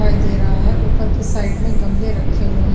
दिखाई दे रहा हैं उपर की साईट में गमले रखे हुए हैं ।